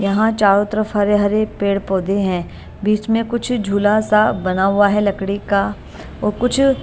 यहां चारों तरफ हरे हरे पेड़ पौधे हैं बीच में कुछ झूला सा बना हुआ है लकड़ी का व कुछ--